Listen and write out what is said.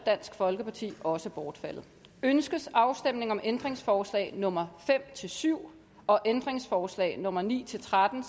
også bortfaldet ønskes afstemning om ændringsforslag nummer fem syv og ændringsforslag nummer ni tretten